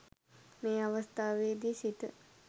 මේ අවස්ථාවේදී සිත